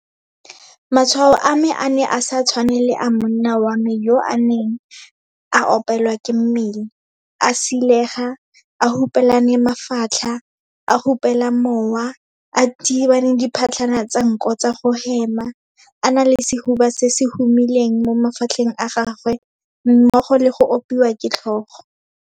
Matshwao a me a ne a sa tshwane le a monna wa me yo ene a neng a opelwa ke mmele, a silega, a hupelane mafatlha, a hupela mowa, a thibana diphatlhana tsa nko tsa go hema, a na le sehuba se se humileng mo mafatlheng a gagwe mmogo le go opiwa ke tlhogo.